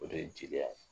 O de ye jeliya ye